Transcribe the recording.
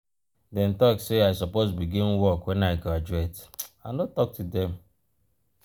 dem talk sey i suppose begin work wen i graduate i no talk to dem.